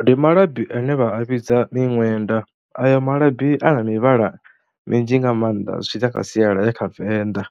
Ndi malabi ane vha a vhidza miṅwenda, ayo malabi a na mivhala minzhi nga maanḓa zwi tshi ḓa kha sialala ya kha Venḓa